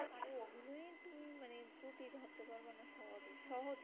সহজে